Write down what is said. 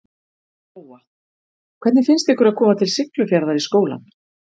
Lóa: Hvernig finnst ykkur að koma til Siglufjarðar í skólann?